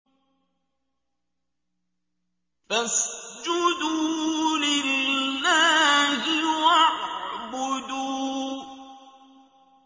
فَاسْجُدُوا لِلَّهِ وَاعْبُدُوا ۩